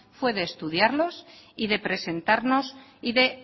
fue de estudiarlos y de presentarnos y de